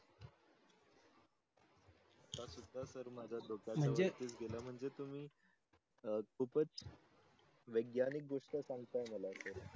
सुदा सर माझ्या डोक्या वरती गेला म्हणजे तुम्ही खूपच वैग्यानीक दृष्ट्या सांगता मला सर.